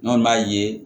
N'an b'a ye